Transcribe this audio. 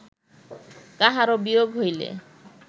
কাহারো বিয়োগ হইলে